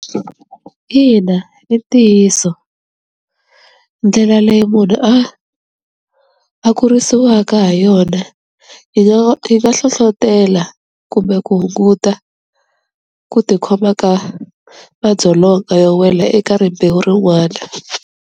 Ina i ntiyiso ndlela leyi munhu a a kurisiwaka ha yona yi yi nga hlohlotela kumbe ku hunguta ku tikhoma ka madzolonga yo wela eka rimbewu rin'wana.